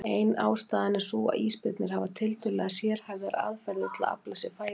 Ein ástæðan er sú að ísbirnir hafa tiltölulega sérhæfðar aðferðir til að afla sér fæðu.